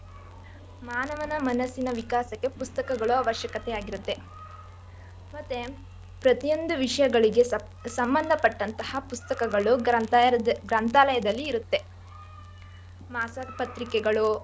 ಮಾನವನ ಮನಸ್ಸಿನ ವಿಕಾಸಕ್ಕೆ ಪುಸ್ತಕಗಳು ಅವಶ್ಯಕೆತೆಯಿರುತ್ತೆ. ಮತ್ತೆ ಪ್ರತಿಯೊಂದು ವಿಷ್ಯಗಳಿಗೆ ಸಂಬಂಧ ಪಟ್ಟಂತ ಪುಸ್ತಕಗಳು ಗ್ರಂಥಾಲಯದಲ್ಲಿ ಇರುತ್ತೆ ಮಾಸಪತ್ರಿಕೆಗಳು.